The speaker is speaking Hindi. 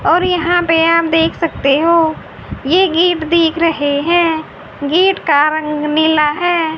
और यहां पे आप देख सकते हो ये गेट देख रहे हैं गेट का रंग नीला है।